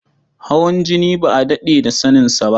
Hawan jini ba a daɗe da saninsa ba.